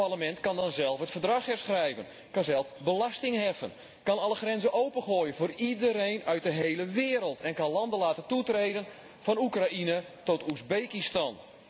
Dit Parlement kan dan zelf het Verdrag herschrijven, kan zelf belasting heffen, kan alle grenzen opengooien voor iedereen uit de hele wereld en kan landen laten toetreden, van Oekraïne tot Oezbekistan.